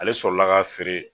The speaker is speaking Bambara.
Ale sɔrɔla k'a feere